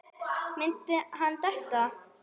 Myndi hann detta?